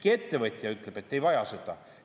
Iga ettevõtja ütleb, et nad ei vaja seda.